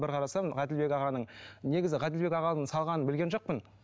бір қарасам ғаділбек ағаның негізі ғаділбек ағаның салғанын білген жоқпын